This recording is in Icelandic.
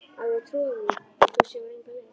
Á ég að trúa því, að þú sjáir enga leið?